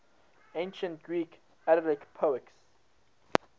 ancient greek elegiac poets